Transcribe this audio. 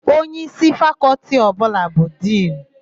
Onyeísí Fakọltị ọbụla bụ Dinu.